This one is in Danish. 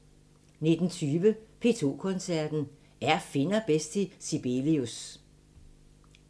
19:20: P2 Koncerten – Er finner bedst til Sibelius?